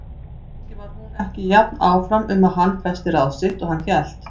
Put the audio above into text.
Kannski var hún ekki jafn áfram um að hann festi ráð sitt og hann hélt.